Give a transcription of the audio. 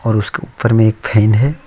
इसके ऊपर में एक फैन है।